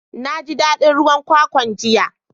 Na ji dadin ruwan kwakwan jiya.